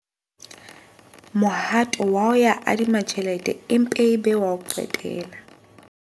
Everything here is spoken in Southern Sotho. Mohato wa ho ya adima tjhelete e mpe e be wa ho qetela.